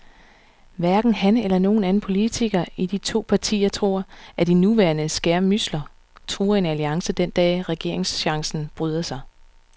Hverken han eller nogen anden politiker i de to partier tror, at de nuværende skærmydsler truer en alliance den dag, regeringschancen byder sig.